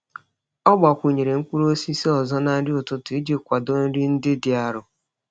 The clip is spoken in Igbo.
Ọ gbakwụnyere mkpụrụ osisi ọzọ na nri ụtụtụ iji kwado nri ndị dị arọ.